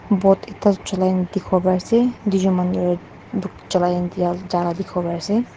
boat ekta jolai na dikipo pari asae tuijun Manu jala dikipo pari asae.